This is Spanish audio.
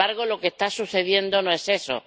Y, sin embargo, lo que está sucediendo no es eso.